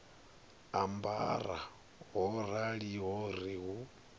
ambara ho raliho ri hu